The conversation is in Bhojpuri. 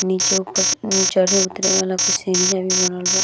नीचे ऊपर अ चढ़े उतरे वाला कुछ सीढ़िया भी बनल बा।